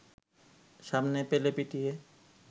সামনে পেলে পিটিয়ে